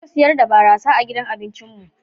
Ba mu siyar da barasa a gidan abincin mu.